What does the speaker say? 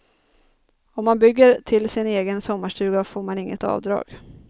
Om man bygger till sin egen sommarstuga får man inget avdrag.